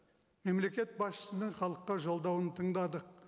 мемлекет басшысының халыққа жолдауын тыңдадық